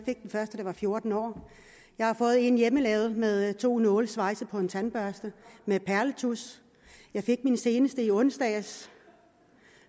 var fjorten år jeg har fået en hjemmelavet med to nåle svejset på en tandbørste med perletusch jeg fik min seneste i onsdags